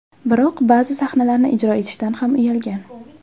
Biroq ba’zi sahnalarni ijro etishdan ham uyalgan.